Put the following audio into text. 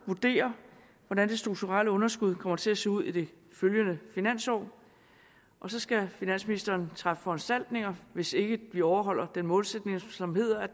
vurdere hvordan det strukturelle underskud kommer til at se ud i det følgende finansår og så skal finansministeren træffe foranstaltninger hvis ikke vi overholder den målsætning som hedder